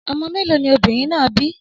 Ọmọ mẹ́lọ̀ ni obìnrin náà bí?